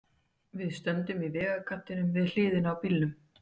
Við stöndum í vegkantinum, við hliðina á bílnum.